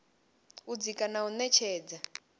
u dzika na u ṅetshedza